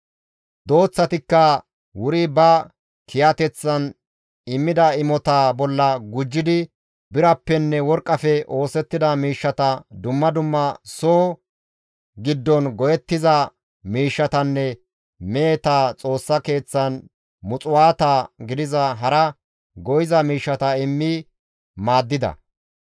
Dooththatikka wuri ba kiyateththan immida imotaa bolla gujjidi birappenne worqqafe oosettida miishshata, dumma dumma soo giddon go7ettiza miishshatanne meheta Xoossa Keeththan muxuwaata gidiza hara go7iza miishshata immi maaddida.